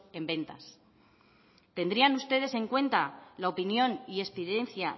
en ventas tendrían ustedes en cuenta la opinión y experiencia